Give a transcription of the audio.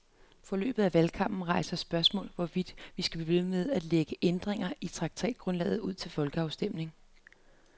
Forløbet af valgkampen rejser spørgsmålet, hvorvidt vi skal blive ved med at lægge ændringer i traktatgrundlaget ud til folkeafstemning.